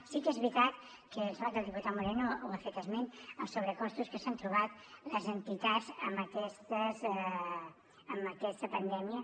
sí que és veritat que em sembla que el diputat moreno n’ha fet esment els sobrecostos que s’han trobat les entitats en aquesta pandèmia